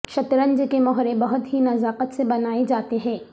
شطرنج کے مہرے بہت ہی نزاکت سے بنائے جاتے ہیں